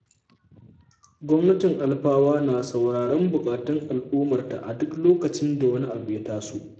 Gwamnatin Alfawa na sauraron buƙatun al'ummarta a duk lokacin da wani abu ya taso.